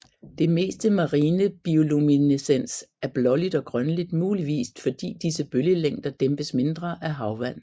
Det meste marine bioluminescens er blåligt og grønligt muligvis fordi disse bølgelængder dæmpes mindre af havvand